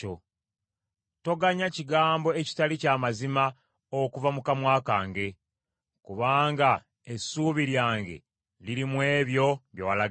Toganya kigambo ekitali kya mazima okuva mu kamwa kange; kubanga essuubi lyange liri mu ebyo bye walagira.